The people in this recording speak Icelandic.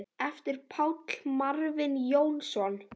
eftir Pál Marvin Jónsson